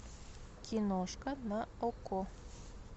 киношка на окко